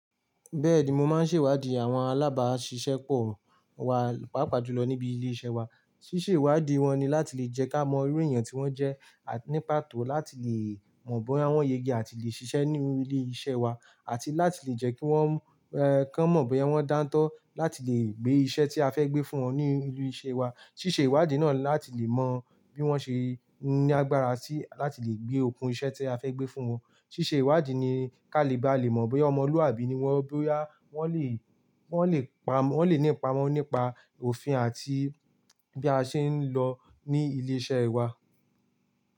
Bẹ́ẹ̀di, mo máa ń ṣèwádìí àwọn alábáṣiṣẹ́ pọ̀ wá, pàápàá jùlọ níbi ilé iṣẹ́ wa. Sísèwádìí wọn ni láti lè jẹ́ ká mọ irú èèyàn tí wọ́n jẹ́, àti ní pàtó láti lè mọ̀ bóyá wọ́n ye ge àti lè ṣiṣẹ́ nínú ilé iṣẹ́ wa àti láti lè jẹ́ kí wọ́n, ẹ́, ká mọ̀ bóyá wọ́n dántọ́ láti lè gbé iṣẹ́ tí a fẹ́ gbé fún wọn ní ilé iṣẹ́ wa. Sísèwádìí náà ni láti lè mọ bí wọ́n ṣe ní agbára sí láti lè gbé okùn iṣẹ́ tí a fẹ́ gbé fún wọn. Sísèwádìí ni ká lè bá le mọ̀ bóyá ọmọlúwàbí ni wọ́n, bóyá wọ́n lè, wọ́n lè pa, wọ́n lè nípa mọ̀ nípa òfin àti bí a ṣe ń lọ ní ilé iṣẹ́ wa.